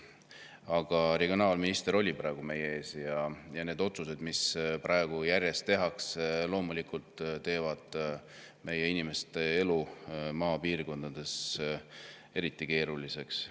Aga regionaalminister oli praegu meie ees ja need otsused, mis praegu järjest tehakse, muudavad meie inimeste elu maapiirkondades eriti keeruliseks.